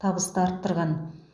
табысты арттырған